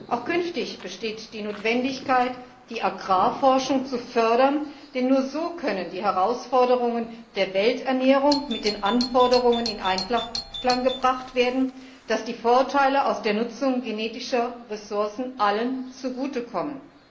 Auch künftig besteht die Notwendigkeit, die Agrarforschung zu fördern, denn nur so können die Herausforderungen der Welternährung mit den Anforderung in Einklang gebracht werden, dass die Vorteile aus der Nutzung genetischer Ressourcen allen zugute kommen.